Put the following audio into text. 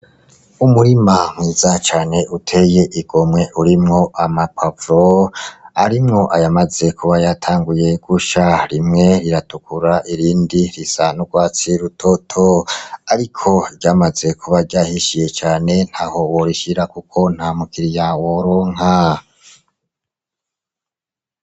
Umurima mwiza cane uteye igomwe urimwo amapoivro arimwo ayamaze kuba yatanguye gusha rimwe riratukura irindi risa n'urwatsi rutoto, ariko ryamaze kuba ryahishiye cane ntaho worishira, kuko nta mukiriya woronka.